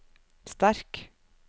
sterk